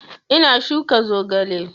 Ina shuka zogale